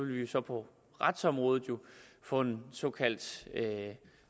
vi så på retsområdet få en såkaldt